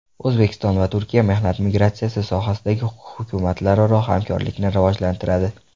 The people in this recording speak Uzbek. O‘zbekiston va Turkiya mehnat migratsiyasi sohasida hukumatlararo hamkorlikni rivojlantiradi.